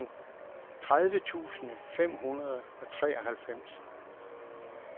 tredive tusind fem hundrede og treoghalvfems